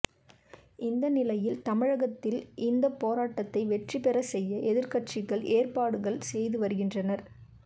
இந்த நிலையில் தமிழகத்தில் இந்த போராட்டத்தை வெற்றி பெற செய்ய எதிர்க்கட்சிகள் ஏற்பாடுகள் செய்து வருகின்றன